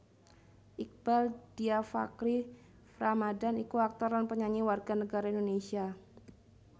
Iqbaal Dhiafakhri Ramadhan iku aktor lan penyanyi warga negara Indonésia